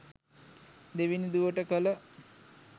දෙවෙනි දුවට කළ